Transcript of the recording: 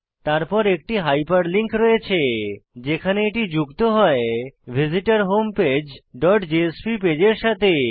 তারপর একটি হাইপারলিঙ্ক রয়েছে যেখানে এটি যুক্ত হয় ভিসিটরহোমপেজ ডট জেএসপি পেজের সাথে